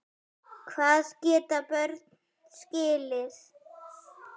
Hvað geta börn skilið?